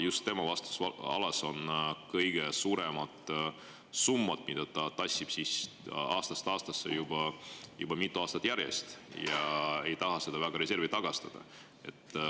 Just tema vastutusalas on kõige suuremad summad, mida ta tassib aastast aastasse, juba mitu aastat järjest, ja ei taha neid reservi tagastada.